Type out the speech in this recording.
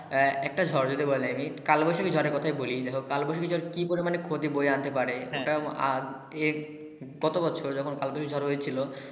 একটা ঝড়ের কথা বলি কাল বৈশাখী ঝড়ের কোথায় বলি কাল বৈশাখী ঝড় কি পরিমান ক্ষতি বয়ে আনতে পারে হ্যা ওটা আর এর গত বছর যখন কাল বৈশাখী ঝড় হহয়েছিল।